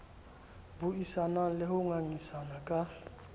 buisanang le ho ngangisana ka